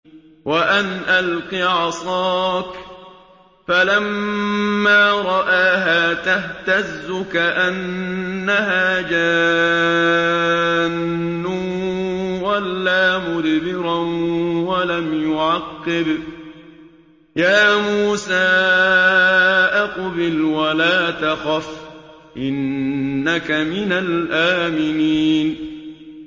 وَأَنْ أَلْقِ عَصَاكَ ۖ فَلَمَّا رَآهَا تَهْتَزُّ كَأَنَّهَا جَانٌّ وَلَّىٰ مُدْبِرًا وَلَمْ يُعَقِّبْ ۚ يَا مُوسَىٰ أَقْبِلْ وَلَا تَخَفْ ۖ إِنَّكَ مِنَ الْآمِنِينَ